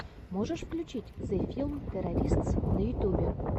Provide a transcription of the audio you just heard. можешь включить зе филм теористс на ютьюбе